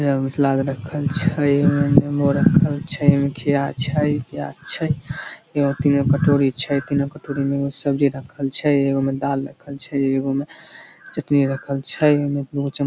एगो में सलाद रखल छै ए में नेंबो रख़ल छै ए में खीरा छै प्याज छै एगो-तीन गो कटोरी छै तीनों कटोरी में एगो में सब्जी रखल छै एगो में दाल रखल छै एगो में चटनी रखल छै ए में दू गो चम्म --